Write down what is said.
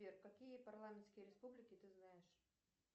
сбер какие парламентские республики ты знаешь